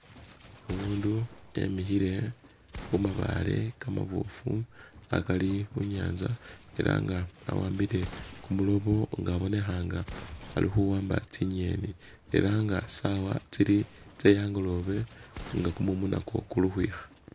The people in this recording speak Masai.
Umundu emihile khumabaale kamabofu akari khunyanza era nga awambile kumulobo nga abonekha nga alikhuamba tsinyeni eranga sawa tsili tse angolobe nga kumumu nakwo kuli ukhwikha